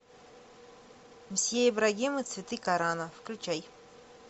мсье ибрагим и цветы корана включай